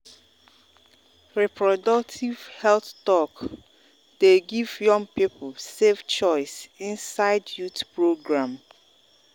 reproductive health talk dey give young people safe choice inside youth program.